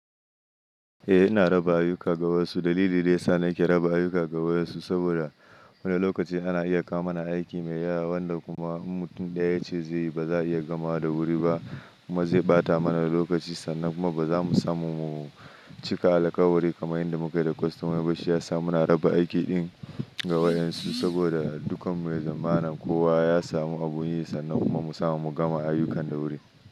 Eh ina raba ayuka ga wasu dalili da ya sa nake raba ayuka ga wasu saboda wani lokaci ana iya kawo mana aiki mai yawa wanda kuma in mutum ɗaya ce zai yi ba za a iya gama da wuri ba kuma zai ɓata mana da lokaci sannan kuma ba za mu samu mu cika alakawari kamar yadda muka yi da kwastoma ba. Shi ya sa muna raba aiki ɗin ga wayen su saboda dukkan mu ya zamana kowa ya samu abin yi sannan kuma mu samu mu gama ayukan da wuri.